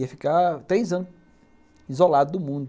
Ia ficar três anos, isolado do mundo.